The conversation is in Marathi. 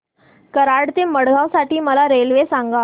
कराड ते मडगाव साठी मला रेल्वे सांगा